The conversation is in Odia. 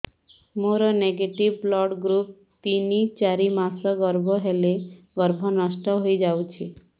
ମୋର ନେଗେଟିଭ ବ୍ଲଡ଼ ଗ୍ରୁପ ତିନ ଚାରି ମାସ ଗର୍ଭ ହେଲେ ଗର୍ଭ ନଷ୍ଟ ହେଇଯାଉଛି